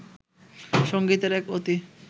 সংগীতের এক অতি